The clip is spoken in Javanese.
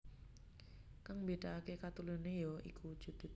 Kang mbédakaké kateluné ya iku wujudé